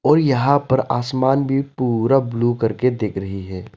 और यहां पर आसमान भी पूरा ब्लू करके दिख रही है।